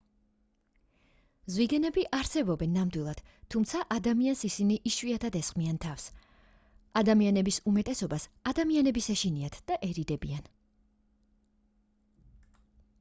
ზვიგენები არსებობენ ნამდვილად თუმცა ადამიანს ისინი იშვიათად ესხმიან თავს ადამიანების უმეტესობას ადამიანების ეშინიათ და ერიდებიან